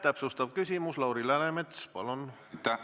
Täpsustav küsimus, Lauri Läänemets, palun!